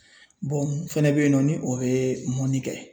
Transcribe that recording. mun fɛnɛ bɛ yen nɔ ni o ye mɔni kɛ